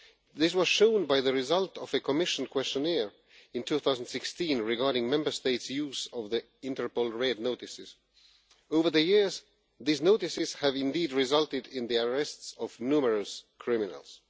This was shown by the result of a Commission questionnaire in 2016 regarding Members States' use of Interpol Red Notices. Over the years, these notices have indeed resulted in the arrests of numerous criminals.